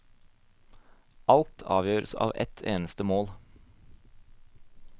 Alt avgjøres av ett eneste mål.